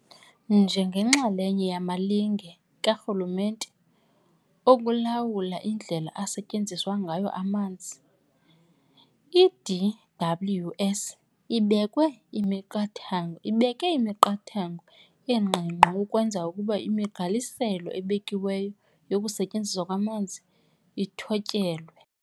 Njengenxalenye yamalinge karhulumente okulawula indlela asetyenziswa ngayo amanzi, i-DWS ibeke imiqathango engqingqwa ukwenzela ukuba imigqaliselo ebekiweyo yokusetyenziswa kwamanzi ithotyelwe.